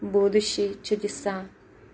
будущий чудеса